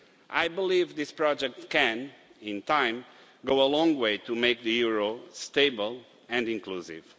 I believe this project can, in time, go a long way towards making the euro stable and inclusive.